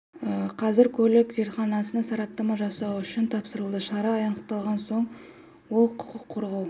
болған қазір көлік зертханасына сараптама жасау үшін тапсырылды шара аяқталған соң ол құқық қорғау